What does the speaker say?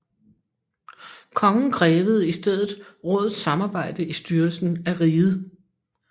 Kongen krævede i stedet rådets samarbejde i styrelsen af riget